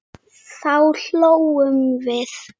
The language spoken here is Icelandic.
Þá hlógum við.